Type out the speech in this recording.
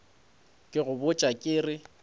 ke go botša ke re